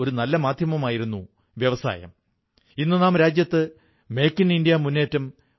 മഹർഷി വാൽമീകിയുടെ ആചാരവിചാരങ്ങളും ആദർശങ്ങളും നമ്മുടെ നവഭാരതസങ്കല്പത്തിന് പ്രേരണയുമാണ് വഴികാട്ടലുമാണ്